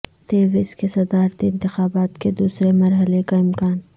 تیونس کے صدارتی انتخابات کے دوسرے مرحلے کا امکان